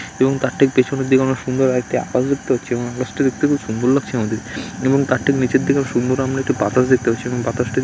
এবং তার ঠিক পেছনের দিকে আমরা সুন্দর আর একটি আকাশ দেখতে পাচ্ছি এবং আকাশটি দেখতে খুব সুন্দর লাগছে আমাদের এবং তার ঠিক নিচের দিকে সুন্দর আমরা একটি বাতাস দেখতে পাচ্ছি এবং বাতাসটি --